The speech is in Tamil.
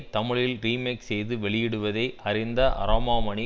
தமிழில் ரீமேக் செய்து வெளியிடுவதை அறிந்த அரோமாமணி